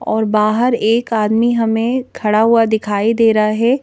और बाहर एक आदमी हमें खड़ा हुआ दिखाई दे रहा है।